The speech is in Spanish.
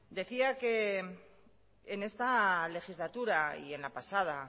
decía que en esta legislatura y en la pasada